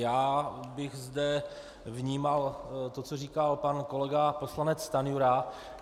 Já bych zde vnímal to, co říkal pan kolega poslanec Stanjura.